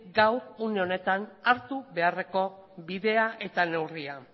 une honetan hartu beharreko bidea eta neurria